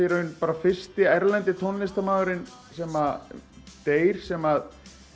fyrsti erlendi tónlistarmaðurinn sem deyr sem